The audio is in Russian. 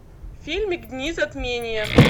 фильмик дни затмения